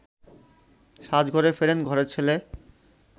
সাজঘরে ফেরেন ঘরের ছেলে